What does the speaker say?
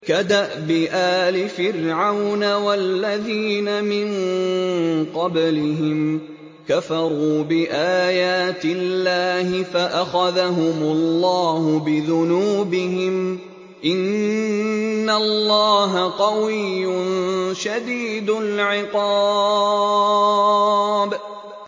كَدَأْبِ آلِ فِرْعَوْنَ ۙ وَالَّذِينَ مِن قَبْلِهِمْ ۚ كَفَرُوا بِآيَاتِ اللَّهِ فَأَخَذَهُمُ اللَّهُ بِذُنُوبِهِمْ ۗ إِنَّ اللَّهَ قَوِيٌّ شَدِيدُ الْعِقَابِ